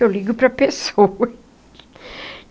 Eu ligo para pessoa.